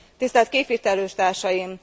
Tisztelt képviselőtársaim!